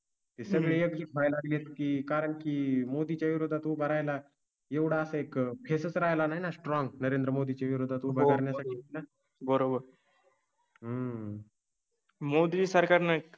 ते सगळे आहेत की कारण की मोदींच्या विरोधात भरायला. एवढा असा एक फेस राहिला नाही ना स्ट्रॉम नरेंद्र मोदींची विरोधात उभा. करण्यासाठी बरोबर. हम्म. मोदी सरकार नाही